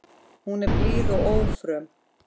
Hún er blíð og ófröm.